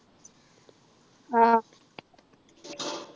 ആഹ്